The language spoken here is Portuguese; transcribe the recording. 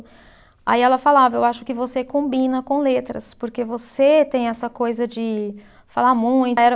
Aí ela falava, eu acho que você combina com letras, porque você tem essa coisa de falar muito.